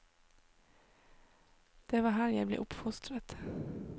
Det var her jeg ble oppfostret.